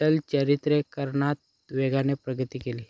चलचित्रीकरणात वेगाने प्रगती केली